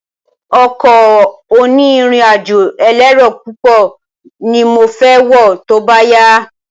Ọkọ̀ oní ìrìn àjò elérò púpọ̀ ni mo fẹ wọ tóbá yá